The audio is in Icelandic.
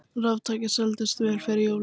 Raftæki seldust vel fyrir jólin